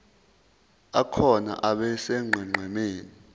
akhona abe sonqenqemeni